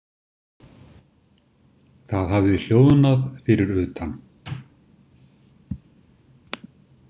Það hafði hljóðnað fyrir utan.